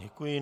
Děkuji.